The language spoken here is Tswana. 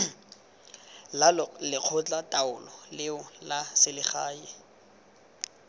la lekgotlataolo leo la selegae